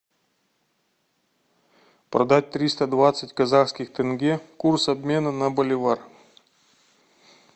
продать триста двадцать казахских тенге курс обмена на боливар